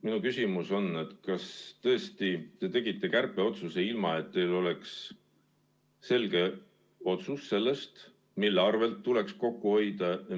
Minu küsimus on, kas tõesti te tegite kärpeotsuse, ilma et teil oleks selget otsust, mille arvel tuleks kokku hoida.